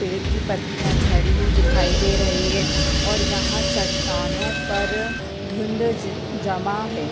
पेड़ की पत्तियाँ झड़ी हुई दिखाई दे रही हैं और यहाँ चट्टानों पर धुंध जामा है।